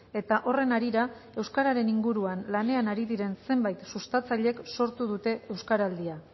eta horren harira euskararen inguruan lanean ari diren zenbait sustatzaileek sortu dute euskaraldia